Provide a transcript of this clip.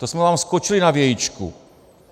To jsme vám skočili na vějičku.